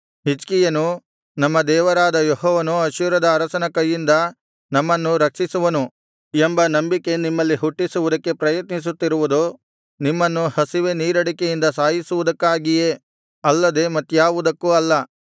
ಹಿಜ್ಕೀಯನು ನಮ್ಮ ದೇವರಾದ ಯೆಹೋವನು ಅಶ್ಶೂರದ ಅರಸನ ಕೈಯಿಂದ ನಮ್ಮನ್ನು ರಕ್ಷಿಸುವನು ಎಂಬ ನಂಬಿಕೆ ನಿಮ್ಮಲ್ಲಿ ಹುಟ್ಟಿಸುವುದಕ್ಕೆ ಪ್ರಯತ್ನಿಸುತ್ತಿರುವುದು ನಿಮ್ಮನ್ನು ಹಸಿವೆ ನೀರಡಿಕೆಗಳಿಂದ ಸಾಯಿಸುವುದಕ್ಕಾಗಿಯೇ ಅಲ್ಲದೆ ಮತ್ತ್ಯಾವುದಕ್ಕೂ ಅಲ್ಲ